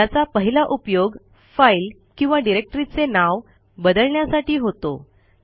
ज्याचा पहिला उपयोग फाईल किंवा डिरेक्टरीचे नाव बदलण्यासाठी होतो